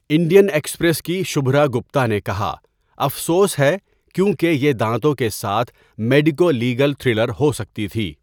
Indian Express کی شبھرا گپتا نے کہا 'افسوس ہے کیونکہ یہ دانتوں کے ساتھ میڈیکو لیگل تھرلر ہو سکتی تھی۔